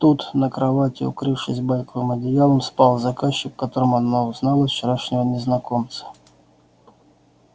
тут на кровати укрывшись байковым одеялом спал заказчик в котором она узнала вчерашнего незнакомца